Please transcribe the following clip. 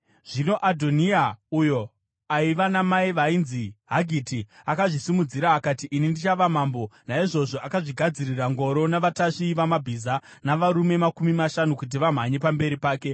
Zvino Adhoniya, uyo aiva namai vainzi Hagiti, akazvisimudzira akati, “Ini ndichava mambo.” Naizvozvo, akazvigadzirira ngoro navatasvi vamabhiza navarume makumi mashanu kuti vamhanye pamberi pake.